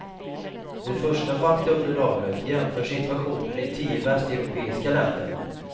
Det första faktaunderlaget jämför situationen i tio västeuropeiska länder.